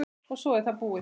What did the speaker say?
og svo er það búið.